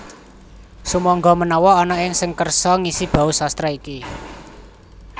Sumangga menawa ana sing kersa ngisi bausastra iki